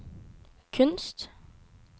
kunst